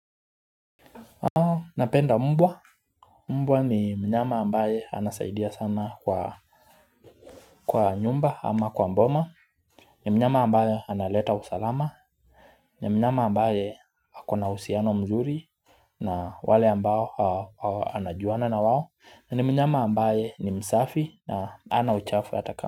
Napenda mbwa, mbwa ni mnyama ambaye anasaidia sana kwa nyumba ama kwa boma. Ni mnyama ambaye analeta usalama, ni mnyama ambaye akona uhusiano mzuri. Na wale ambao anajuana na wao, na ni mnyama ambaye ni msafi na hana uchafu hata ka.